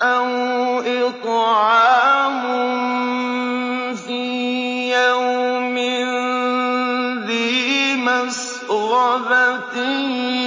أَوْ إِطْعَامٌ فِي يَوْمٍ ذِي مَسْغَبَةٍ